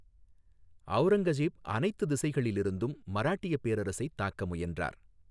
ஔரங்கசீப் அனைத்து திசைகளிலிருந்தும் மராட்டிய பேரரசைத் தாக்க முயன்றார்.